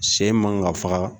Sɛ in man ka faga